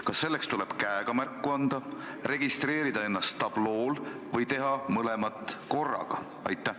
Kas selleks tuleb käega märku anda, registreerida ennast tablool või teha mõlemat korraga?